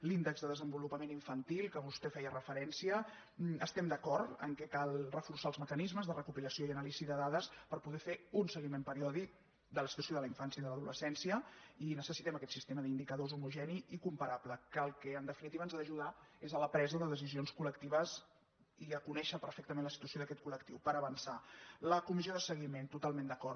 l’índex de desenvolupament infantil que vostè hi feia referència estem d’acord que cal reforçar els mecanismes de recopilació i anàlisi de dades per po·der fer un seguiment periòdic de la situació de la in·fància i de l’adolescència i necessitem aquest sistema d’indicadors homogeni i comparable que al que en definitiva ens ha d’ajudar és a la presa decisions col·lectives i a conèixer perfectament la situació d’aquest col·la comissió de seguiment totalment d’acord